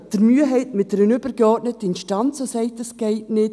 Oder haben Sie Mühe mit einer übergeordneten Instanz, welche sagt, es gehe nicht?